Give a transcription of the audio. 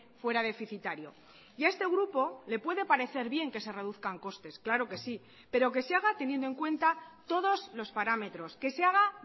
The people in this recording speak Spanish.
fuera deficitario y a este grupo le puede parecer bien que se reduzcan costes claro que sí pero que se haga teniendo en cuenta todos los parámetros que se haga